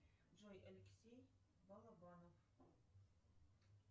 джой алексей балабанов